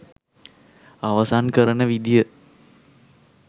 අවසන් කරන විදිය